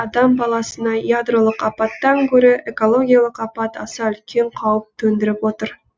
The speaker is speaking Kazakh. адам баласына ядролық апаттан гөрі экологиялық апат аса үлкен қауіп төндіріп отыр